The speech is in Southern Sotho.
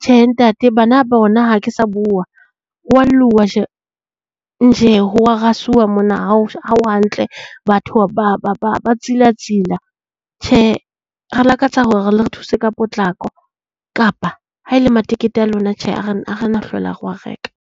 Tjhe ntate bana bona ha ke sa bua hwa lluwa ho wa rasuwa mona ha ho hantle, batho ba ba ba tsilatsila. Tjhe re lakatsa hore le re thuse ka potlako, kapa haele matekete a lona tjhe ha re ha re hlola re wa reka.